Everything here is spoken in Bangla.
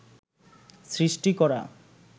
সৃষ্টি করা